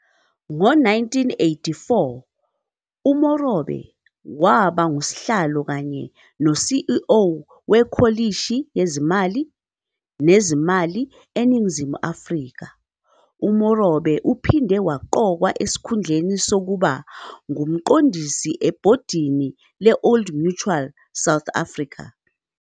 Ngo-1994 uMorobe waba nguSihlalo kanye no-CEO weKhomishini Yezimali Nezimali eNingizimu Afrika. UMorobe uphinde waqokwa esikhundleni sokuba nguMqondisi ebhodini le-Old Mutual South Africa.